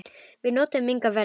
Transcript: Við notuðum engar verjur.